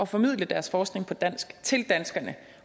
formidle deres forskning på dansk til danskerne